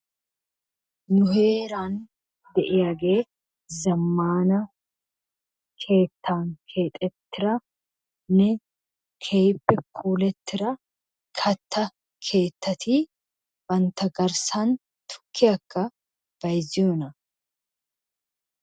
Nu heeran de'iyaage zammana keettan keexxetiranne keehippe puulattira kattaa keettati bantta garssan tukkiyaakka bayzziyoona?